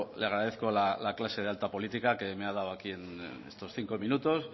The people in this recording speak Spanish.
le agradezco la clase de alta política que me ha dado aquí en estos cinco minutos